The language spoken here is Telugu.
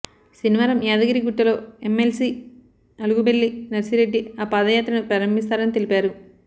శనివారం యాదగిరి గుట్టలో ఎమ్మెల్సీ అలుగుబెల్లి నర్సిరెడ్డి ఆ పాదయాత్రను ప్రారంభిస్తారని తెలిపారు